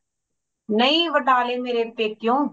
ਨਹੀਂ ਵਟਾਲੇ ਮੇਰੇ ਪੇਕੇਯੋ